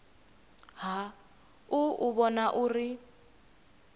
ha u u vhona uri